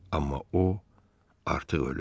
Amma o artıq ölüb.